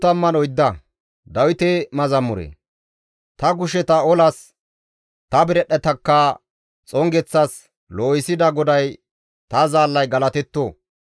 Ta kusheta olas, ta biradhdhetakka xongeththas loohissida GODAY ta zaallay galatetto!